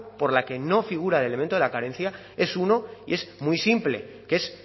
por la que no figura el elemento de la carencia es uno y es muy simple que es